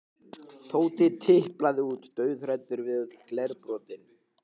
Tóti tiplaði út, dauðhræddur við öll glerbrotin.